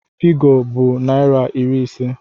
Figo bụ naịra iri ise